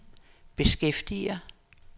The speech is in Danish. beskæftiger